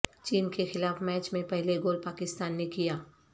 چین کے خلاف میچ میں پہلے گول پاکستان نے کیا